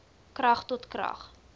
krag tot krag